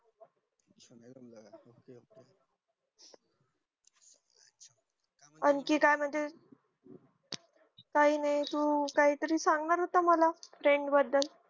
अंकिता मध्ये काही नाही तू काही तरी सांगणार होता मला friend बदल